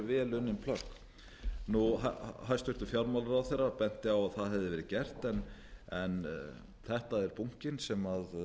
vel unnin plögg hæstvirtur fjármálaráðherra benti á að það hefði verið gert en þetta er bunkinn sem